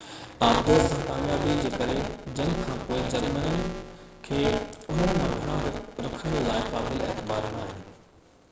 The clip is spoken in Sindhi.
آبدوز سان ڪاميابي جي ڪري جنگ کان پوءِ جرمنن کي انهن مان گھڻا رکڻ لاءِ قابلِ اعتبار ناهن